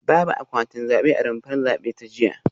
Babu akwatin zabe a rumfar zabe ta jiya